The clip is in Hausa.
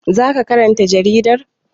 Za ka karanta jaridar?